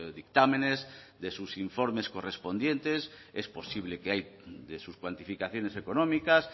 dictámenes de sus informes correspondientes es posible que ahí de sus cuantificaciones económicas